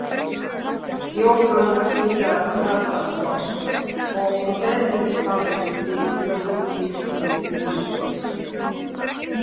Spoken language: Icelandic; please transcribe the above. Jóhann Hlíðar Harðarson: Og hvernig hafið þið brugðist við því?